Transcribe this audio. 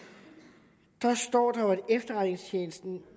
efterretningstjenesten